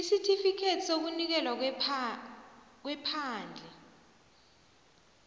isitifikhethi sokunikelwa kwephandle